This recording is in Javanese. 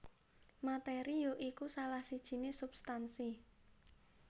Materi ya iku salah sijiné substansi